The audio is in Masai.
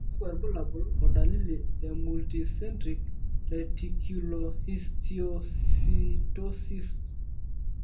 kakwa irbulabol o dalili e Multicentric reticulohistiocytosisd?